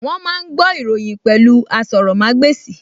Wọ́n máa ń gbọ́ ìròyìn pẹ̀lú asọrọ̀mágbèsì